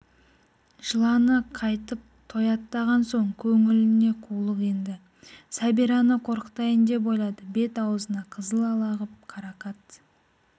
жыланы қайтып тояттаған соң көңіліне қулық енді сәбираны қорқытайын деп ойлады бет-аузына қызыл ала ғып қарақат